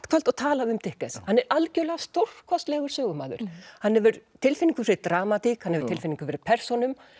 kvöld og talað um hann er algjörlega stórkostlegur sögumaður hann hefur tilfinningu fyrir dramatík hann hefur tilfinningu fyrir persónum